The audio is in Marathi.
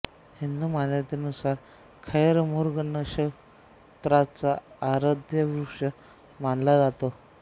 हिंदू मान्यतेनुसार खैर मृग नक्षत्राचा आराध्यवृक्ष मानला जातो